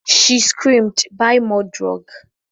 She screamed "Buy more drug"